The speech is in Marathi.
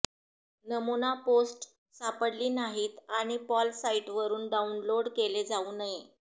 नमुना पोस्ट सापडली नाहीत आणि पॉल साइटवरून डाउनलोड केले जाऊ नये